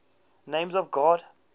names of god